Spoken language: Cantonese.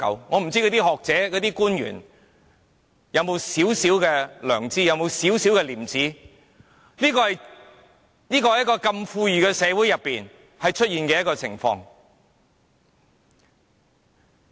我不知道學者和官員有沒有少許良知和廉耻，在如此富裕的社會中竟然出現這種情況。